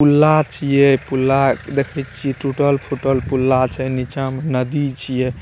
पुला छिए पुला देखई छिए टूटल-फूटल पुला छै नीचा में नदी छिए।